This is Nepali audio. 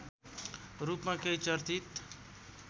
रूपमा केही चर्चित